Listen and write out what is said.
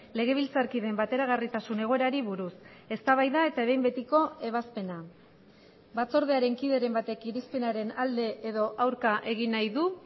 legebiltzarkideen bateragarritasun egoerari buruz eztabaida eta behin betiko ebazpena batzordearen kideren batek irizpenaren alde edo aurka egin nahi du